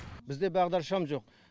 бізде бағдаршам жоқ